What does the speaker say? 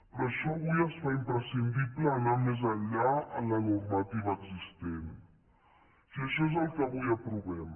per això avui es fa imprescindible anar més enllà en la normativa existent i això és el que avui aprovem